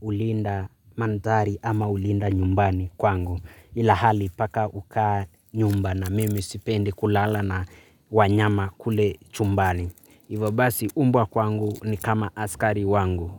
hulinda mandhari ama hulinda nyumbani kwangu. Ila hali paka huka nyumbani. Mimi sipendi kulala na wanyama kule chumbani. Ivo basi mbwa kwangu ni kama askari wangu.